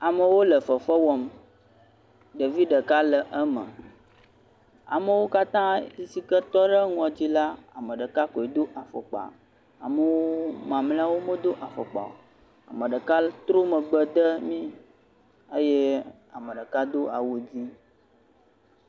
Amewo le fefe wɔm. Ɖevi ɖeka le eme. Amewo katã si ke tɔ ɖe enuɔ dzi la, ame ɖeka koe do afɔkpa. Amewoo, mamlewo medo afɔkpa o. Ame ɖeka trɔ megbe de mí eye ame ɖeka do awu dzɛ̃.